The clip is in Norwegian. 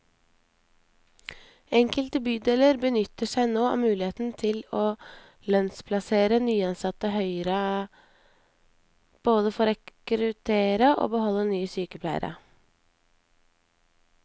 Enkelte bydeler benytter seg nå av muligheten til å lønnsplassere nyansatte høyere, både for å rekruttere og beholde nye sykepleiere.